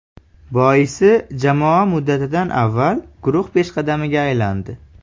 Boisi jamoa muddatidan avval guruh peshqadamiga aylandi.